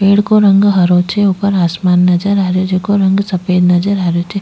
पेड़ को रंग हरो छे ऊपर आसमान नजर आ रो छे जेको रंग सफ़ेद नजर आ रहे छे।